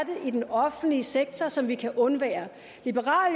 i den offentlige sektor som vi kan undvære liberal